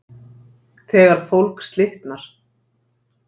þegar fólk slitnar